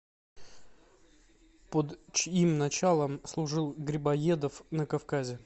под чьим началом служил грибоедов на кавказе